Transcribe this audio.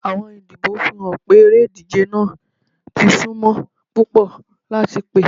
Awọn idibo n fihan pe ere-ije naa ti sunmo pupọ lati pe